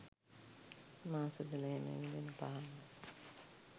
මාස දොළහෙම ඇවිලෙන පහනක්.